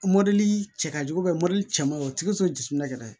Mɔdɛli cɛ ka jugu mɔdɛli cɛ ma o tigi sɔrɔ jiginna kɛnɛma